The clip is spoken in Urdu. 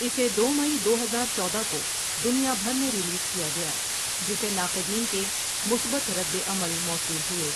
اسے دو مئی دو ہزار چودہ کو دنیا بھر میں ریلیز کیا گیا جسے ناقدین کے مثبت ردعمل موصول ہوئے۔